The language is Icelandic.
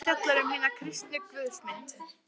Hin síðari fjallar um hina kristnu guðsmynd.